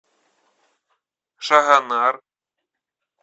шагонар